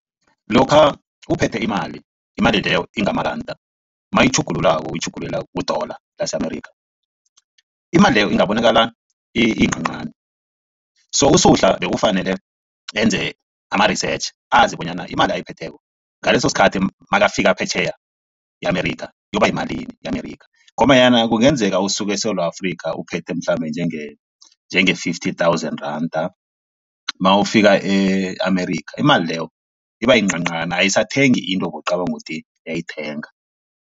Lokha uphethe imali imali leyo ingamaranda mayitjhugululako uyitjhugululela kudola lase-Amerika. Imali leyo ingabonakala iyincancani so uSuhla bekufanele enze ama-research azi bonyana imali ayiphetheko ngaleso sikhathi makafika phetjheya e-Amerika iyoba yimalini e-Amerika ngombanyana kungenzeka usuke eSewula Afrika uphethe mhlambe njenge njenge-fifty thousand randa mawufika e-Amerika imali leyo iba yincancani ayisathengi into bowucabanga ukuthi iyayithenga.